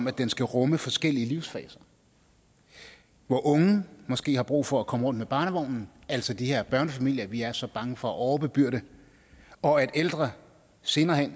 at den skal rumme forskellige livsfaser hvor unge måske har brug for at komme rundt med barnevognen altså de her børnefamilier vi er så bange for at overbebyrde og at ældre senere hen